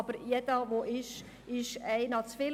Aber jeder ist einer zu viel.